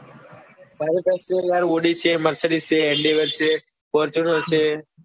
મારી પાસે જો ને યાર audi છે mercedes fortuner છે.